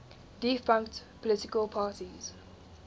defunct political parties